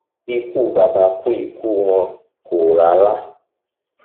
ikú bàbà kó ikú wọn kò rárá